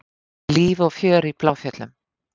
Líf og fjör í Bláfjöllum